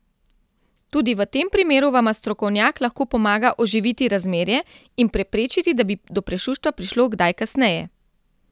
Tudi v tem primeru vama strokovnjak lahko pomaga oživiti razmerje in preprečiti, da bi do prešuštva prišlo kdaj kasneje.